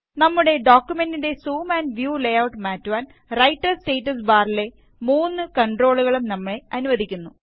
നമ്മുടെ ഡോക്കുമെന്റിന്റെ zoom and view layout മാറ്റുവാന് റൈറ്റര് സ്റ്റാറ്റസ് ബാറിലെ മൂന്ന് കണ്ട്രോളുകളും നമ്മെ അനുവദിക്കുന്നു